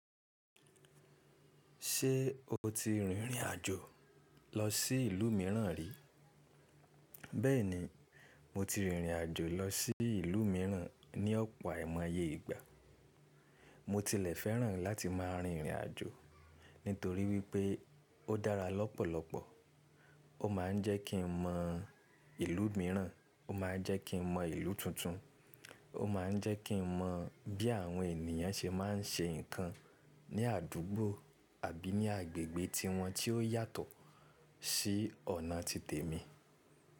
Ṣé o ti rìnrìn àjò lọ sí ìlú mìíràn rí? Bẹ́ẹ̀ni, mo ti rìnrìn àjò lọ sí ìlú mìíràn ní ọ̀pọ̀ aimoye ìgbà. Mo tilẹ̀ fẹ́ràn láti máa rìnrìn àjò nítorí wípé ó dára lọ́pọ̀lọpọ̀. Ó máa ń jẹ́ kí n mọ ìlú mìíràn, ó máa ń jẹ́ kí n mọ ìlú tuntun, ó máa ń jẹ́ kí n mọ bí àwọn ènìyàn ṣe máa ń ṣe nǹkan ní àdúgbò àbí ní agbègbè tiwọn tí ó yàtọ̀ sí ọ̀nà ti tèmi.